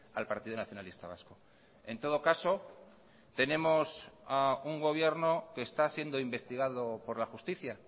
al partido nacionalista vasco en todo caso tenemos a un gobierno que está siendo investigado por la justicia